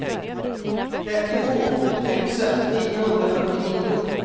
trettiotvå tusen niohundrafyrtionio